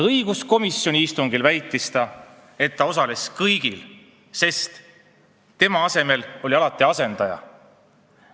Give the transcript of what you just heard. Õiguskomisjoni istungil väitis ta, et ta osales kõigil, sest tema asemel oli alati asendaja.